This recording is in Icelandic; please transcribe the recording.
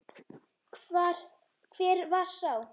Hver var sá?